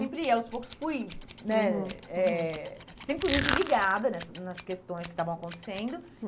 Sempre, aos poucos, fui né eh... Sempre fui muito ligada nessas nas questões que estavam acontecendo.